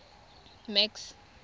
max